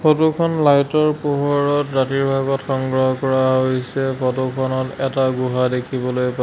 photo খন light ৰ পোহৰত ৰাতিৰ ভাগত সংগ্ৰহ কৰা হৈছে ফটো খনত এটা গুহা দেখিবলৈ পাই--